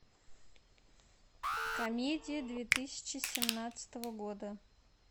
комедии две тысячи семнадцатого года